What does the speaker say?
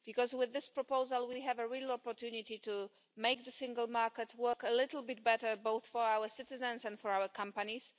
With this proposal, we have a real opportunity to make the single market work a little bit better, both for our citizens and for our companies.